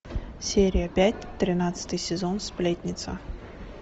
серия пять тринадцатый сезон сплетница